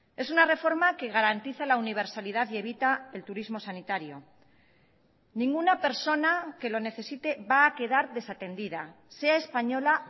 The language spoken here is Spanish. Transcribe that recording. es una reforma que garantiza la universalidad y evita el turismo sanitario ninguna persona que lo necesite va a quedar desatendida sea española